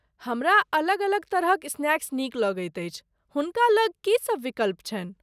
हमरा अलग अलग तरहक स्नैक्स नीक लगैत अछि, हुनका लग की सभ विकल्प छनि ?